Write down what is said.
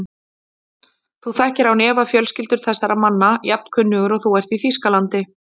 Þú þekkir án efa fjölskyldur þessara manna, jafn kunnugur og þú ert í Þýskalandi.